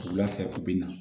Wula fɛ u bɛ na